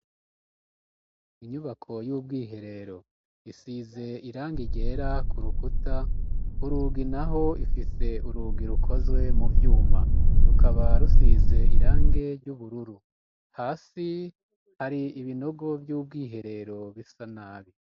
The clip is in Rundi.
Inyubako y'ubwiherero isize irangi ryera ku rukuta kurugi naho ifise urugi rukozwe mu vyuma rukaba rusize irange ry'ubururu hasi hari ibinogo vyubwiherero bisa nabi.